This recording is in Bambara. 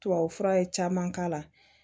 Tubabufura ye caman k'a la